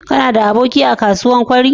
Kanada aboki a kasuwar kwari?